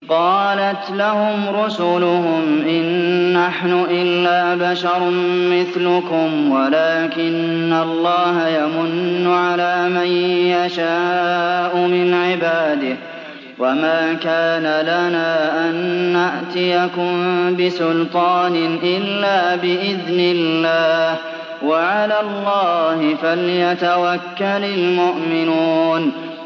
قَالَتْ لَهُمْ رُسُلُهُمْ إِن نَّحْنُ إِلَّا بَشَرٌ مِّثْلُكُمْ وَلَٰكِنَّ اللَّهَ يَمُنُّ عَلَىٰ مَن يَشَاءُ مِنْ عِبَادِهِ ۖ وَمَا كَانَ لَنَا أَن نَّأْتِيَكُم بِسُلْطَانٍ إِلَّا بِإِذْنِ اللَّهِ ۚ وَعَلَى اللَّهِ فَلْيَتَوَكَّلِ الْمُؤْمِنُونَ